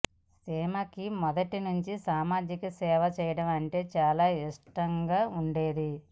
సీమాకి మొదటి నుంచి సామాజిక సేవ చేయడం అంటే చాలా ఇష్టంగా ఉండేది